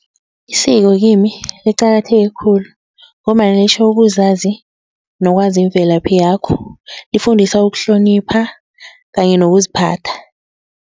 Isiko kimi liqakatheke khulu ngombana litjho ukuzazi nokwazi imvelaphi yakho lifundisa ukuhlonipha kanye nokuziphatha.